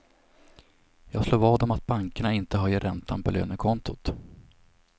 Jag slår vad om att bankerna inte höjer räntan på lönekontot.